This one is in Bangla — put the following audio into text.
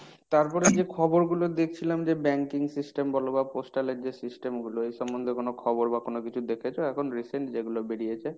তারপরে ইয়ে খবর গুলো দেখছিলাম যে banking system বলো বা postal এর যে system গুলো এই সম্বন্ধে কোন খবর বা কোন কিছু দেখেছো এখন recent যেগুলো বেরিয়েছে?